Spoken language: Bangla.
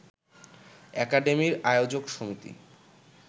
একাডেমির আয়োজক সমিতি